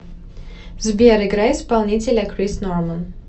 сбер играй исполнителя крис норман